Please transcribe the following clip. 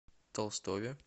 толстове